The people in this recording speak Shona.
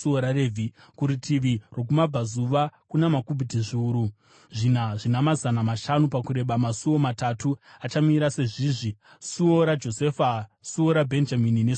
Kurutivi rwokumabvazuva, kuna makubhiti zviuru zvina zvina mazana mashanu pakureba, masuo matatu achamira sezvizvi: suo raJosefa, suo raBhenjamini nesuo raDhani.